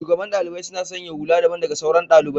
shugaban ɗaliɓai suna sanya hulla daɓan daga sauran ɗaliɓai.